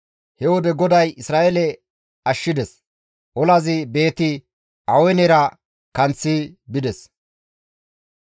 He wode GODAY Isra7eele ashshides; olazi Beeti-Awenera kanththi bides.